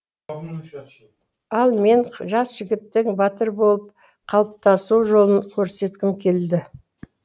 ал мен жас жігіттің батыр болып қалыптасу жолын көрсеткім келді